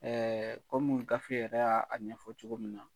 Ɛɛ kɔmi gafe yɛrɛ y'a ɲɛfɔ cogo min na